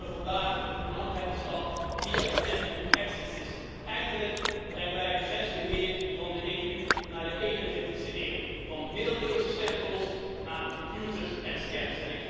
En dat doen we vandaag met een belangrijke stap via het inreis uitreissysteem. Eindelijk brengen wij het grensbeheer van de EU naar de 21e eeuw, van middeleeuwse stempels naar computers en scans.